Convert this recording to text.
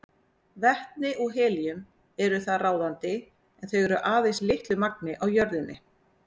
Vetni og helíum eru þar ráðandi en þau eru aðeins í litlu magni á jörðinni.